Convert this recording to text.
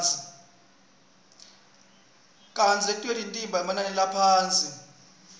kantsi letinye tibita emanani laphasi